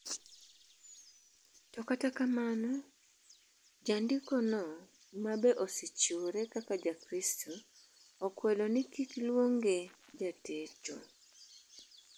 To kata kamano jandiko no ma be osechiwopre kaka jakristu okwedo ni kikluonge jatecho.